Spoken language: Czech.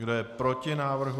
Kdo je proti návrhu?